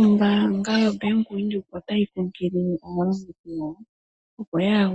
Ombaanga yaVenduka otayi kunkilile aalongithi yawo, opo kaa iyadhe